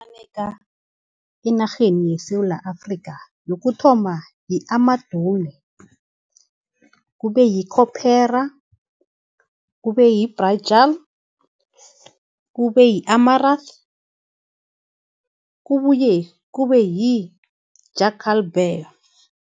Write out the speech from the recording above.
enarheni yeSewula Afrika yokuthoma yi-amadumi, kube yikhopera, kube yibhajam, kube yi-amarasi kubuye kube yi-jakkal bhee.